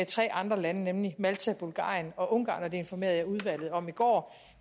tre andre lande nemlig malta bulgarien og ungarn og det informerede jeg udvalget om i går